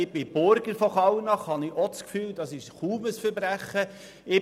Ich bin Burger von Kallnach, da habe ich ebenfalls das Gefühl, es sei kaum ein Verbrechen.